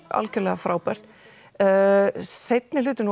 algjörlega frábært seinni hlutinn